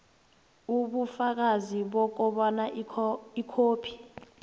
ubufakazi bokobana ikhophi